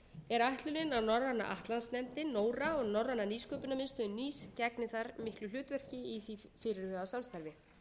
er ætlunin að norræna atlantsnefndin nora um norræna nýsköpunarmiðstöð hið gegni þar miklu hlutverki í því fyrirhugaða samstarfi